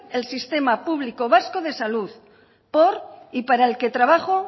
el sistema público vasco de salud por y para el que trabajo